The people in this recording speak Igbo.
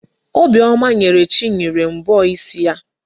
Obiọma nyere Chinyere mbọ isi ya.